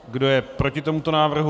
Kdo je proti tomuto návrhu?